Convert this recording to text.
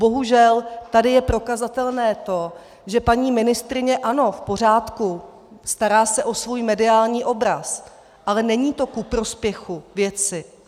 Bohužel tady je prokazatelné to, že paní ministryně, ano, v pořádku, stará se o svůj mediální obraz, ale není to ku prospěchu věci.